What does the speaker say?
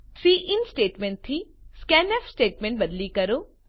sin statement થી સ્કેન્ફ statement બદલી કરો